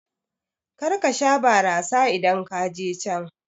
Karka sha barasa idan kaje can